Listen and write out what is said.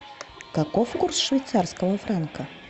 каков курс швейцарского франка